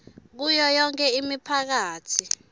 kuyo yonkhe imiphakatsi